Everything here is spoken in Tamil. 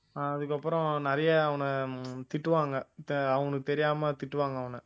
அதுக்கப்புறம் நெறைய அவனை திட்டுவாங்க தெ~ அவனுக்கு தெரியாம திட்டுவாங்க அவனை